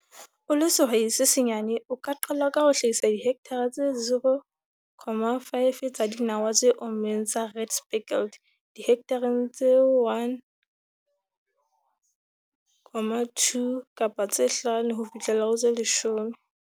O le sehwai se senyane, o ka qala ka ho hlahisa dihekthara tse 0, 5 tsa dinawa tse ommeng tsa red speckled dihekthareng tse 1, 2 kapa tse 5 ho fihlela ho tse 10.